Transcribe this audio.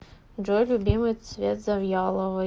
джой любимый цвет завьяловой